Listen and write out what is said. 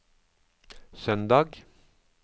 søndag